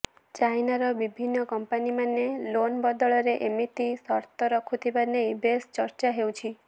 ଚାଇନାର ବିଭିନ୍ନ କମ୍ପାନୀମାନେ ଲୋନ୍ ବଦଳରେ ଏମିତି ସର୍ତ୍ତ ରଖୁଥିବା ନେଇ ବେଶ ଚର୍ଚ୍ଚା ହେଉଛି